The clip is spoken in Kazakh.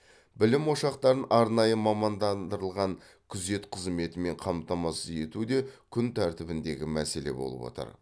білім ошақтарын арнайы мамандандырылған күзет қызметімен қамтамасыз ету де күн тәртібіндегі мәселе болып отыр